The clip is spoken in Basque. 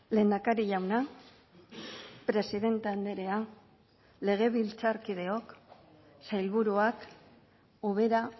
lehendakari jauna presidente andrea legebiltzarkideok sailburuak ubera